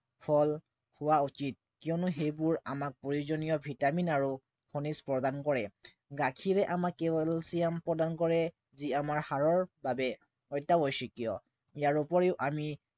ফল খোৱা উচিত কিয়নো সেইবোৰ আমাক প্ৰয়োজনীয় vitamin আৰু খনিজ প্ৰদান কৰে। গাখীৰে আমাক calcium প্ৰদান কৰে যি আমাৰ হাড়ৰ বাবে অত্য়াৱশ্য়কীয়। ইয়াৰ উপৰিও আমি